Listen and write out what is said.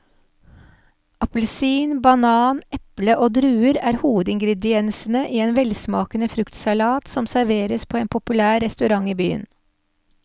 Appelsin, banan, eple og druer er hovedingredienser i en velsmakende fruktsalat som serveres på en populær restaurant i byen.